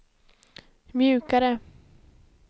mjukare